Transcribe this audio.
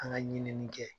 An ka ɲinini kɛ